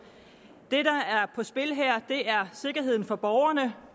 det der er på spil her er sikkerheden for borgerne